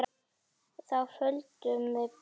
Þá földum við Bergur okkur.